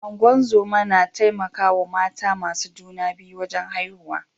Ungozoma na taimaka wa mata masu juna biyu wajen haihuwa.